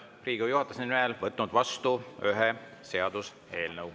Olen Riigikogu juhatuse nimel võtnud vastu ühe seaduseelnõu.